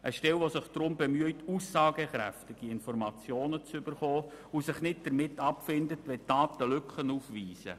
Das muss eine Stelle sein, die sich bemüht, aussagekräftige Informationen zu erhalten und sich nicht mit Lücken in den Daten abfindet.